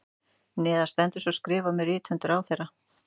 Neðar stendur svo skrifað með rithönd ráðherra